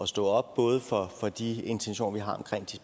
stå op både for de intentioner vi har omkring